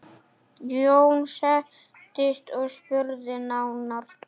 Jón settist og spurði nánar.